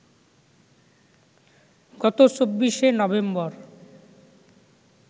গত ২৪শে নভেম্বর